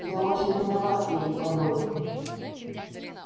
я очень виноват перед тобой